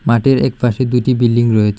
মাটের একপাশে দুইটি বিল্ডিং রয়েচে।